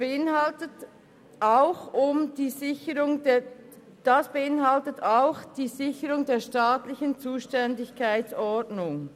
Das beinhaltet auch die Sicherung der staatlichen Zuständigkeitsordnung.